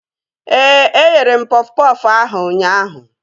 Ee, eghere m pọf pọfụ ahụ ụnyaahụ